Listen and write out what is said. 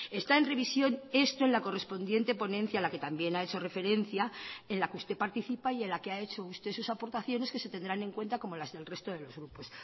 está en revisión esto en la correspondiente ponencia a la que también ha hecho referencia en la que usted participa y en la que ha hecho usted sus aportaciones que ese tendrán en cuenta como las del resto de los grupos